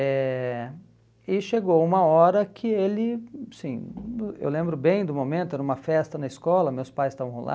Eh e chegou uma hora que ele, assim, eu lembro bem do momento, era uma festa na escola, meus pais estavam lá,